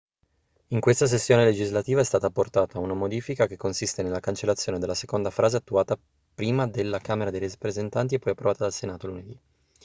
in questa sessione legislativa è stata apportata una modifica che consiste nella cancellazione della seconda frase attuata prima dalla camera dei rappresentanti e poi approvata dal senato lunedì